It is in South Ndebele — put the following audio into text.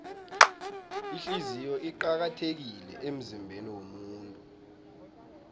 ihliziyo iqakathekile emzimbeniwomuntu